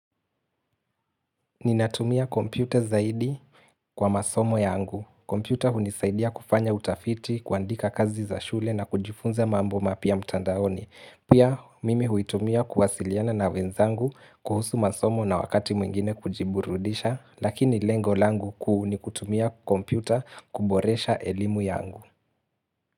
Ninatumia kompyuta zaidi kwa masomo yangu. Kompyuta hunisaidia kufanya utafiti, kuandika kazi za shule na kujifunza mambo mapya mtandaoni. Pia, mimi huitumia kuwasiliana na wenzangu kuhusu masomo na wakati mwingine kujiburudisha, lakini lengo langu kuu ni kutumia kompyuta kuboresha elimu yangu.